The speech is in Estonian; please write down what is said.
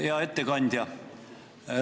Hea ettekandja!